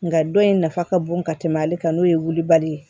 Nga dɔ in nafa ka bon ka tɛmɛ ale kan n'o ye wulibali ye